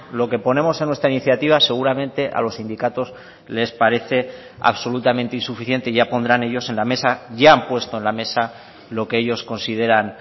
lo que ponemos en nuestra iniciativa seguramente a los sindicatos les parece absolutamente insuficiente ya pondrán ellos en la mesa ya han puesto en la mesa lo que ellos consideran